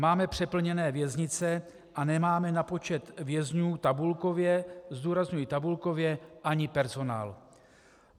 Máme přeplněné věznice a nemáme na počet vězňů tabulkově - zdůrazňuji tabulkově - ani personál.